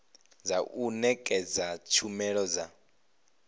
dza u nekedza tshumelo dza